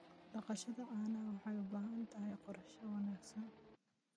Dhaqashada caanaha waxay u baahan tahay qorshe wanaagsan.